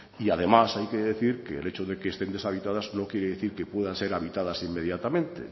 y además hay que decir que el hecho de que estén deshabitadas no quiere decir que puedan ser habitadas inmediatamente